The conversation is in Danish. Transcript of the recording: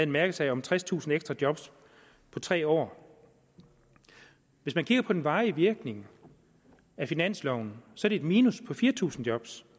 mærkesag om tredstusind ekstra job på tre år hvis man kigger på den varige virkning af finansloven ser man et minus på fire tusind job